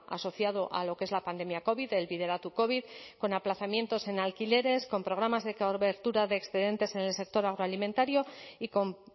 asociado a lo que es la pandemia covid el bideratu covid con aplazamientos en alquileres con programas de cobertura de excedentes en el sector agroalimentario y con